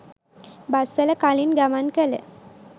බස්වල කලින් ගමන් කළ